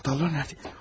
Anahtarlar nədə?